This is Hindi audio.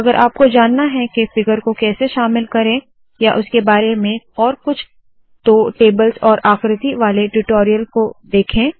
अगर आपको जानना है के फिगर को कैसे शामिल करे या उसके बारे में और कुछ तो टेबल्स और आकृति वाले ट्यूटोरियल को देखे